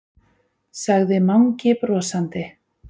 sagði Mangi brosandi.